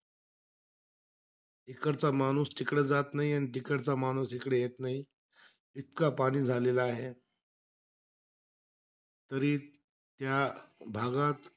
इकडचा माणूस तिकडे जात नाही. आणि तिकडचा माणूस इकडे येत नाही. इतका पाणी झालेला आहे. तरी त्या भागात,